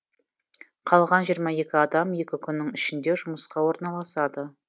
қалған жиырма екі адам екі күннің ішінде жұмысқа орналасады